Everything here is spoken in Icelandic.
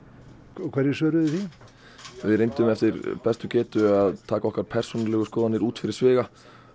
og hverju svöruðu þið því við reyndum eftir bestu getu að taka okkar persónulegu skoðanir út fyrir sviga